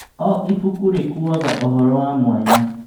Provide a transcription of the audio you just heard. O ibuku rĩkuaga ũhoro wa mwanya.